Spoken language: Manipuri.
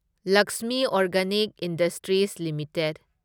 Lakshmi organic industries limited